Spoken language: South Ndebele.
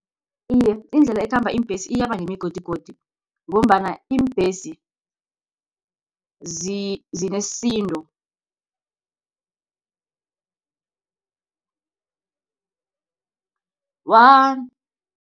Iye, indlela ekhamba iimbesi iyaba nemigodigodi, ngombana iimbhesi zinesindo